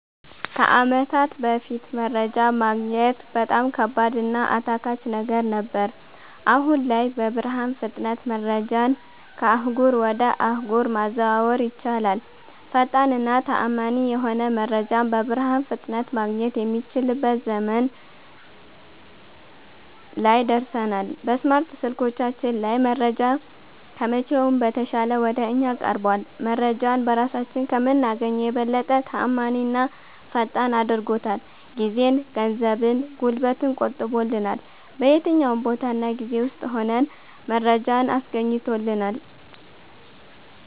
ከአመታት በፋት መረጃ ማግኘት በጣም ከባድ እና አታካች ነገር ነበር። አሁን ላይ በብርሃን ፍጥነት መረጃን ከአህጉር ወጀ አህጉር ማዘዋወር ይቻላል። ፈጣን እና ተአመኒ የሆነ መረጃን በብርሃን ፍጥነት ማገኘት የሚችልበት ዘመን ላይ ደርሠናል። በስማርት ስልኮቻችን ላይ መረጃ ከመቼውም በተሻለ ወደ እኛ ቀርቧል። መረጄን በራሳችን ከምናገኘው የበለጠ ተአማኒና ፈጣን አድርጎታል። ጊዜን፣ ገንዘብን፣ ጉልበትን ቆጥቦልናል። በየትኛውም ቦታ እና ጊዜ ውስጥ ሁነን መረጃን አስገኝቶልናል።